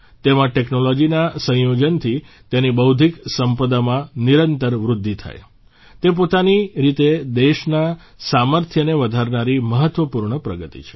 તેમાં ટેકનોલોજીના સંયોજનથી તેની બૌદ્ધિક સંપદામાં નિરંતર વૃદ્ધિ થાય તે પોતાની રીતે દેશના સામર્થ્યને વધારનારી મહત્ત્વપૂર્ણ પ્રગતિ છે